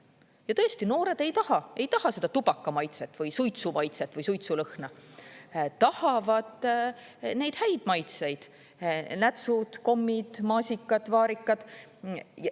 Ja tõesti, noored ei taha, ei taha seda tubakamaitset või suitsumaitset või suitsulõhna, tahavad neid häid maitseid: nätsud, kommid, maasikad, vaarikad.